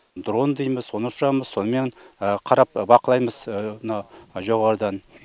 дрон дей ме соны ұшамыз сонымен қарап бақылаймыз мына жоғарыдан